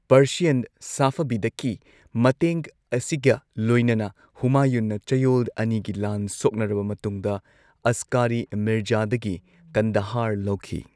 Persian ꯁꯐꯕꯤꯗꯀꯤ ꯃꯇꯦꯡ ꯑꯁꯤꯒ ꯂꯣꯏꯅꯅ ꯍꯨꯃꯥꯌꯨꯟꯅ ꯆꯌꯣꯜ ꯑꯅꯤꯒꯤ ꯂꯥꯟ ꯁꯣꯛꯅꯔꯕ ꯃꯇꯨꯡꯗ ꯑꯁꯀꯥꯔꯤ ꯃꯤꯔꯖꯥꯗꯒꯤ ꯀꯟꯗꯍꯥꯔ ꯂꯧꯈꯤ꯫